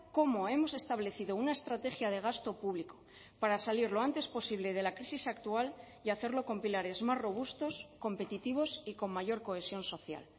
cómo hemos establecido una estrategia de gasto público para salir lo antes posible de la crisis actual y hacerlo con pilares más robustos competitivos y con mayor cohesión social